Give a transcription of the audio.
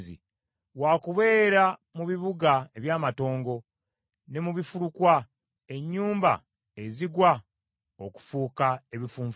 wakubeera mu bibuga eby’amatongo, ne mu bifulukwa, ennyumba ezigwa okufuuka ebifunfugu.